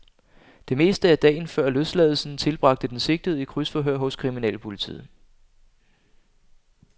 Det meste af dagen før løsladelsen tilbragte den sigtede i krydsforhør hos kriminalpolitiet.